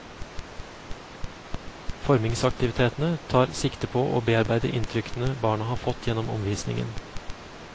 Formingsaktivitetene tar sikte på å bearbeide inntrykkene barna har fått gjennom omvisningen.